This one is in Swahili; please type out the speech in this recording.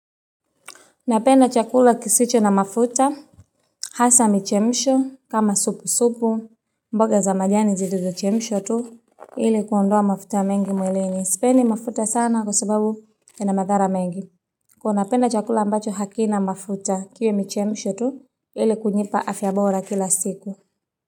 Napenda chakula kisicho na mafuta, hasa michemsho, kama sup supu, mboga za manyanya zilizo chemshwa tu, ili kuondoa mafuta mengi mwilini, sipendi mafuta sana kwa sababu ina madhara mengi. Kuwa napenda chakula ambacho hakina mafuta kiwe michemishwa tu, ili kunipa afya bora kila siku.